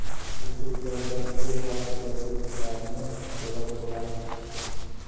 Muxlislardan o‘z vaqtida kelishlarini so‘rab qolamiz.